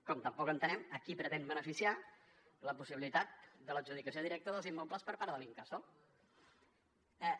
com tampoc entenem a qui pretén beneficiar la possibilitat de l’adjudicació directa dels immobles per part de l’incasòl